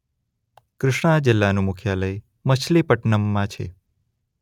કૃષ્ણા જિલ્લાનું મુખ્યાલય મછલીપટનમમાં છે.